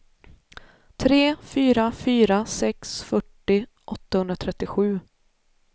tre fyra fyra sex fyrtio åttahundratrettiosju